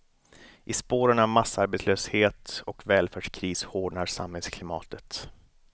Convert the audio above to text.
I spåren av massarbetslöshet och välfärdskris hårdnar samhällsklimatet.